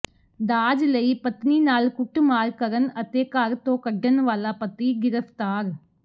ਦਾਜ ਲਈ ਪਤਨੀ ਨਾਲ ਕੁੱਟਮਾਰ ਕਰਨ ਅਤੇ ਘਰ ਤੋਂ ਕੱਢਣ ਵਾਲਾ ਪਤੀ ਗ੍ਰਿਫਤਾਰ